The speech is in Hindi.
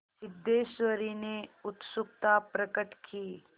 सिद्धेश्वरी ने उत्सुकता प्रकट की